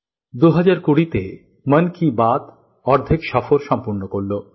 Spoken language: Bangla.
২০২০ তে মন কী বাত অর্ধেক সফর সম্পূর্ণ করল